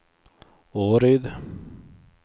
Åryd